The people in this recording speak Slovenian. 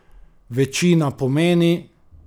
Večina pomeni?